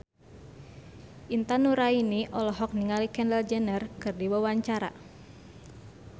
Intan Nuraini olohok ningali Kendall Jenner keur diwawancara